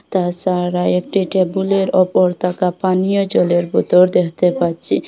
তাছারা একটি টেবিলের ওপর থাকা পানীয় জলের বোতর দেখতে পাচ্ছি।